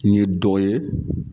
Ni ye dɔ ye